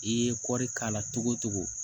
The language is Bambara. I ye kɔri k'a la cogo cogo